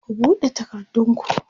ku buɗe takardun ku!